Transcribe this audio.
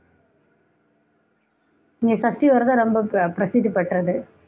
இங்க சஷ்டி விரதம் ரொம்ப பி~ பிரசித்தி பெற்றது